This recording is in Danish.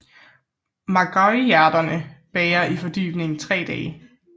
Magueyhjerterne bager i fordybningen i tre dage